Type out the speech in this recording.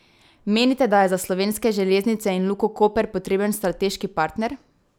Menite, da je za Slovenske železnice in Luko Koper potreben strateški partner?